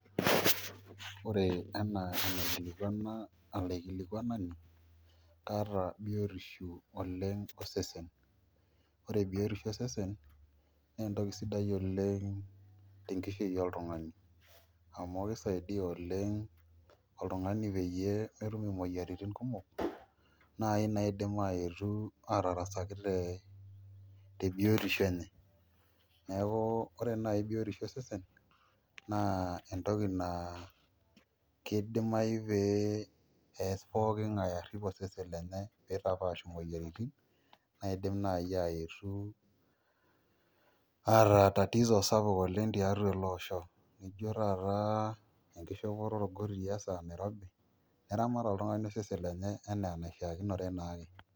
Ore ena anaikilikwana olaikilikuani kaata biotisho oleng tosesen, ore biotisho osesen na entoki sidai oleng tenkishui oltungani amu keisaidia oleng oltungani peyie metum omoyiaritin kumok nai naidim aetu atarasakitia te biotisho enye, neaku ore nai biotisho esesen na entoki naa kidimayu peas pokin ngae arip osesen lenye peitapaash moyiaritin naidim nai aetu ataatatizo sapuk oleng tiatua ele osho, nijo taata enkishopoto orkotii esaa nairobi eramat oltungani osesen lenye anaa enishaakinore naake.